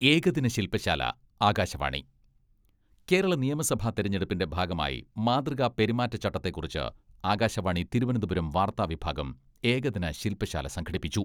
ഏകദിന ശിൽപശാല, ആകാശവാണി കേരള നിയമസഭാ തെരഞ്ഞെടുപ്പിന്റെ ഭാഗമായി മാതൃകാ പെരുമാറ്റച്ചട്ടത്തെക്കുറിച്ച് ആകാശവാണി തിരുവനന്തപുരം വാർത്താ വിഭാഗം ഏകദിന ശില്പശാല സംഘടിപ്പിച്ചു.